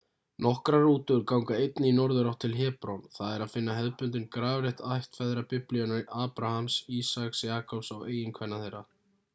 nokkrar rútur ganga einnig í norðurátt til hebron það er að finna hefðbundinn grafreit ættfeðra biblíunnar abrahams ísaks jakobs og eiginkvenna þeirra